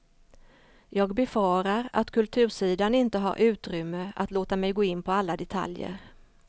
Jag befarar att kultursidan inte har utrymme att låta mig gå in på alla detaljer.